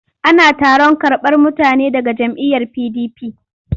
Ana taron karɓar mutane daga jam'iyyar PDP.